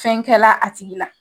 Fɛn kɛla a tigi la.